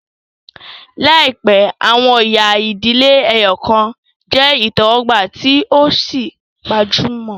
Laipẹ, awọn ẹya idile ẹyọkan jẹ itẹwọgba tí o sì gbajúmọ̀